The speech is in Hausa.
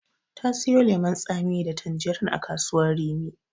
Ta siyo lemon tsami da tanjirin a kasuwar Rimi.